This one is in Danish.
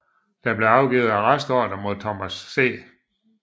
Der blev afgivet arrestordre mod Thomas C